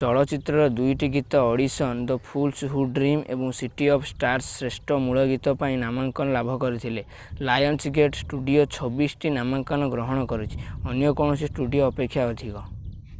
ଚଳଚ୍ଚିତ୍ରର 2ଟି ଗୀତ Audition The Fools Who Dream ଏବଂ ସିଟି ଅଫ୍ ଷ୍ଟାର୍ସ ଶ୍ରେଷ୍ଠ ମୂଳ ଗୀତ ପାଇଁ ନାମାଙ୍କନ ଲାଭ କରିଥିଲେ। ଲାୟନ୍ସଗେଟ୍ ଷ୍ଟୁଡିଓ 26 ଟି ନାମାଙ୍କନ ଗ୍ରହଣ କରିଛି - ଅନ୍ୟ କୌଣସି ଷ୍ଟୁଡିଓ ଅପେକ୍ଷା ଅଧିକ।